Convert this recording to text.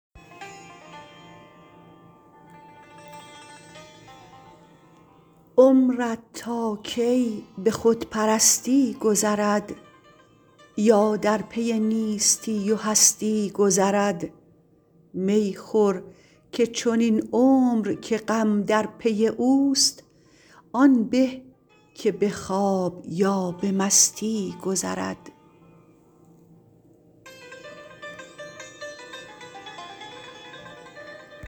عمرت تا کی به خود پرستی گذرد یا در پی نیستی و هستی گذرد می خور که چنین عمر که غم در پی اوست آن به که به خواب یا به مستی گذرد